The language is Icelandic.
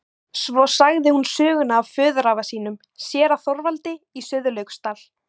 Svo sagði hún söguna af föðurafa sínum, séra Þorvaldi í Sauðlauksdal.